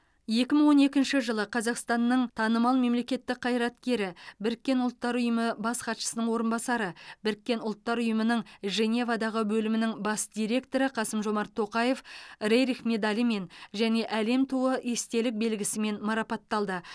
екі мың он екінші жылы қазақстанның танымал мемлекеттік қайраткері біріккен ұлттар ұйымы бас хатшысының орынбасары біріккен ұлттар ұйымының женевадағы бөлімінің бас директоры қасым жомарт тоқаев рерих медалімен және әлем туы естелік белгісімен марапатталды